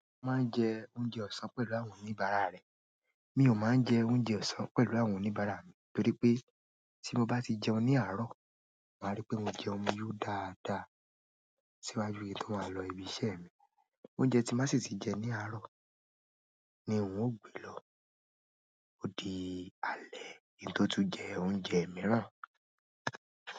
Se o máa ń jẹ oúnjẹ ọ̀sán pẹ̀lú ahun níbarà rẹ. Mi ò máa ń jẹ oúnjẹ ọ̀sán pẹ̀lú àwọn oníbarà mi nítorí pé tí mo bá ti jẹun ní àárọ̀, màá rí pé mo jẹun yóò dáadáa síwájú ètò ààlọ́ ibi iṣẹ́ mi. Oúnjẹ tí n bá sì tì jẹ ní àárọ̀ ni un ó gbé lọ. Ó di alẹ́ kin tó tún jẹ oúnjẹ mìíràn.